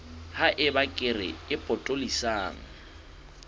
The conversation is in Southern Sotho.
ha eba kere e potolohisang